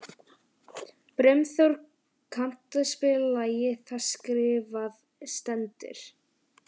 Brimþór, kanntu að spila lagið „Það skrifað stendur“?